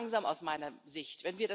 Viel zu langsam aus meiner Sicht.